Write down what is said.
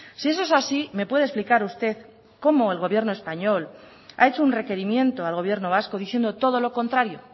si eso es así me puede explicar usted cómo el gobierno español ha hecho un requerimiento al gobierno vasco diciendo todo lo contrario